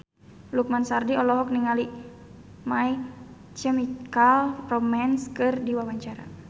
Lukman Sardi olohok ningali My Chemical Romance keur diwawancara